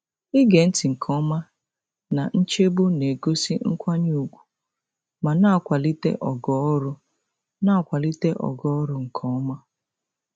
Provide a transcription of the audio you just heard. Ige ntị nke ọma na nchegbu na-egosi nkwanye ùgwù ma na-akwalite ogo ọrụ na-akwalite ogo ọrụ nke ọma.